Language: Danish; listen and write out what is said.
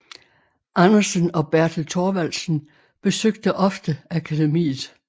Andersen og Bertel Thorvaldsen besøgte ofte akademiet